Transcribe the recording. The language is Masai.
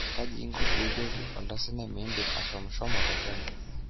Kaji inko pee ijoki oltansaniai mindim ashomshomo te Kenya?